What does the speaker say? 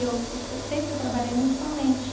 Eu sempre trabalhei muito com a mente.